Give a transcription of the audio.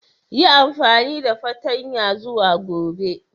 Yi amfani da fartanya zuwa Gobe.